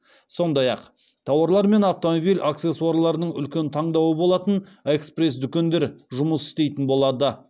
сондай ақ тауарлар мен автомобиль аксессуарларының үлкен таңдауы болатын экспресс дүкендер жұмыс істейтін болады